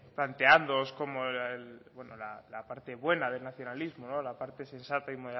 planteándoos como la parte buena del nacionalismo la parte sensata y